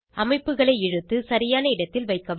அமைப்புகளை இழுத்து சரியான இடத்தில் வைக்கவும்